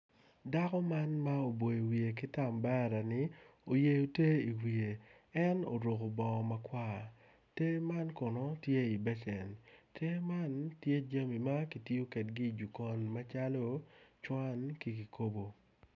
Dako man ma oboyo wiye ki tam baraini oyeyo te i wiye en oruku bongo makwar te man kono tye i becen te man tye jami ma kitiyo kedgi i jokon macalo cwan ki kikobo